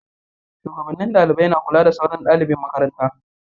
Shugabannin dalibai na kula da sauran dalibin makaranta